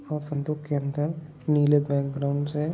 और संदूक के अन्दर नीले बैकग्राउंड हैं।